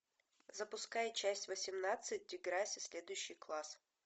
запускай часть восемнадцать деграсси следующий класс